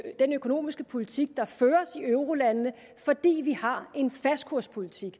den økonomiske politik der føres i eurolandene fordi vi har en fastkurspolitik